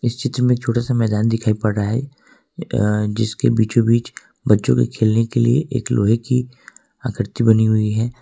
इस चित्र में एक छोटा मैदान दिखाई पड़ रहा है अ अ जिसके बीचों बीच बच्चों के खेलने के लिए एक लोहे की आकृति बनी हुई है।